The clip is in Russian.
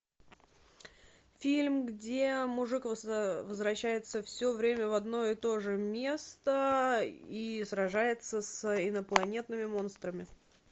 фильм где мужик возвращается все время в одно и то же место и сражается с инопланетными монстрами